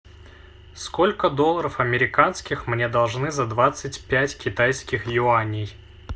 сколько долларов американских мне должны за двадцать пять китайских юаней